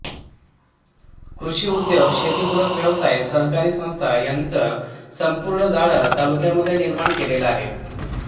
कृषी उद्योग शेती पूरक व्यवसाय सहकारी संस्था यांचं संपूर्ण जाळं तालुक्यांमध्ये निर्माण केलेल आहे